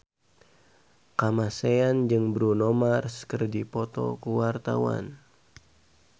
Kamasean jeung Bruno Mars keur dipoto ku wartawan